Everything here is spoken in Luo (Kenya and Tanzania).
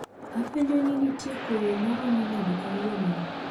Apenjo ni nitie koyo maromo nade kawuono ni